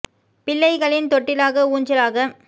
பிள்ளைகளின் தொட்டிலாக ஊஞ்ச லாக